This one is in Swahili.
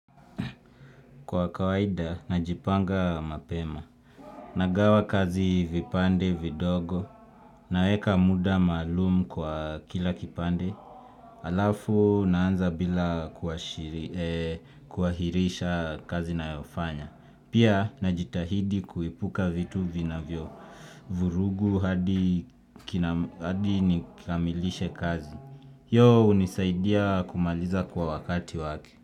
Kwa kawaida, najipanga mapema. Nagawa kazi vipande, vidogo. Naeka muda malumu kwa kila kipande. Alafu, naanza bila kuahirisha kazi na yofanya. Pia, najitahidi kuepuka vitu vinavyo. Vurugu hadi nikamilishe kazi. Yo unisaidia kumaliza kwa wakati wake.